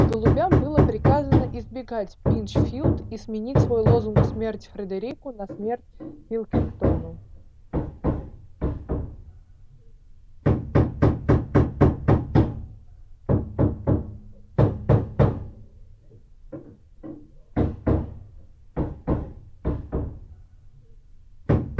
голубям было приказано избегать пинчфилд и сменить свой лозунг смерть фредерику на смерть пилкингтону